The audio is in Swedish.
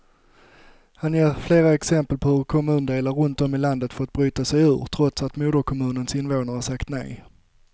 Han ger flera exempel på hur kommundelar runt om i landet fått bryta sig ur, trots att moderkommunens invånare sagt nej.